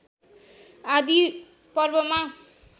आदि पर्वमा